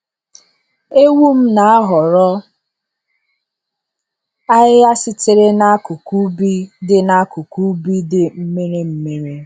Ewum na-ahọrọ ahịhịa sitere n’akụkụ ubi dị n’akụkụ ubi dị mmiri mmiri.